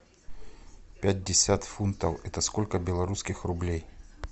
пятьдесят фунтов это сколько белорусских рублей